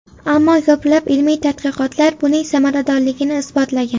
Ammo ko‘plab ilmiy tadqiqotlar buning samaradorligini isbotlagan.